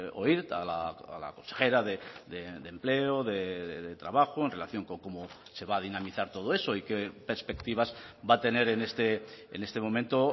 oír a la consejera de empleo de trabajo en relación con cómo se va a dinamizar todo eso y qué perspectivas va a tener en este momento